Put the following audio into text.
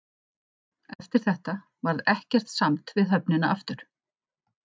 Eftir þetta varð ekkert samt við höfnina aftur.